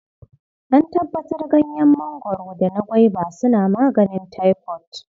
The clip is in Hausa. An tabbatar Ganyen mangwaro da na gwaiba suna maganin taifot.